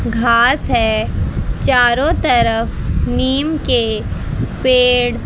घास है। चारों तरफ नीम के पेड़ --